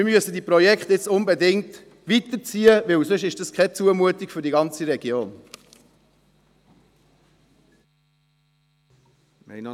Wir müssen die Projekte jetzt unbedingt weiterziehen, weil es sonst eine Zumutung für die ganze Region ist.